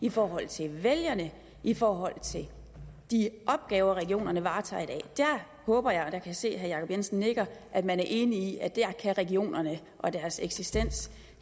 i forhold til vælgerne i forhold til de opgaver regionerne varetager i dag jeg håber og jeg kan se at herre jacob jensen nikker at man er enig i at der kan regionerne og deres eksistens